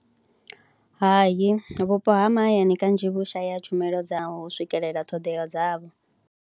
Hayi vhupo ha mahayani kanzhi vhushaya tshumelo dza u swikelela ṱhodea dzavho.